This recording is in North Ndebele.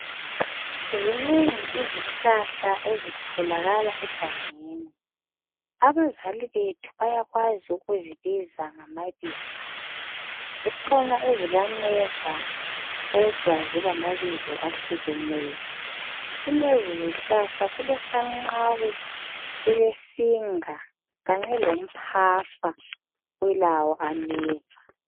Zinengi izihlahla ezitholakala egangeni. Abazali bethu bayakwazi ukuzibiza ngamabizo. Zikhona ezilameva kodwa zilamabizo ahlukeneyo. Kulezizihlahla kulesanqawe, kulesinga kanye lomphafa ulawo ameva .